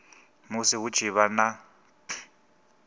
musi hu tshi vha na